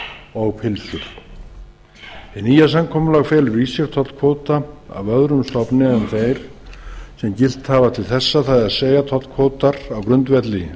og pylsur hið nýja samkomulag felur í sér tollkvóta af öðrum stofni en þeim sem gilt hafa til þessa það er tollkvótar á grundvelli